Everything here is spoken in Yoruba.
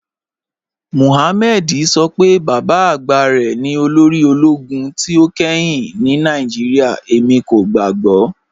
Mọhàmmẹ̀dì sọ pé baba agba rẹ ni olórì ologun tí o kẹ́hìn ni Nigeria, ẹmi kò gbàgbọ̀."